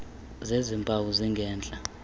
zezi mpawu zingentla